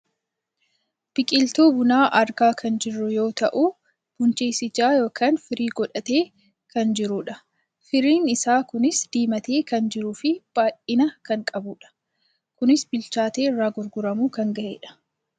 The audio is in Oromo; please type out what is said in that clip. Biqiltuu bunaa argaa kan jirru yoo ta'u, bunches ija yookaan firii godhatee kan jirudha. Firiin isaa kunis diimatee kan jiruu fi baayyina kan qabudha. Kunis bilchaatee irraa guurramuu kan gahedha.